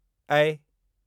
ऐ